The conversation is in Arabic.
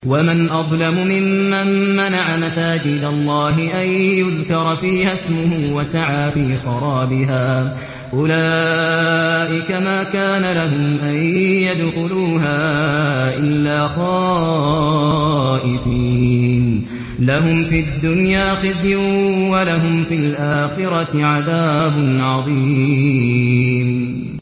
وَمَنْ أَظْلَمُ مِمَّن مَّنَعَ مَسَاجِدَ اللَّهِ أَن يُذْكَرَ فِيهَا اسْمُهُ وَسَعَىٰ فِي خَرَابِهَا ۚ أُولَٰئِكَ مَا كَانَ لَهُمْ أَن يَدْخُلُوهَا إِلَّا خَائِفِينَ ۚ لَهُمْ فِي الدُّنْيَا خِزْيٌ وَلَهُمْ فِي الْآخِرَةِ عَذَابٌ عَظِيمٌ